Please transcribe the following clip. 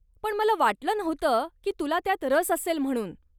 पण मला वाटलं नव्हतं की तुला त्यात रस असेल म्हणून.